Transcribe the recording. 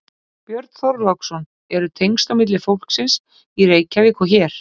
Björn Þorláksson: Eru tengsl á milli fólksins í Reykjavík og hér?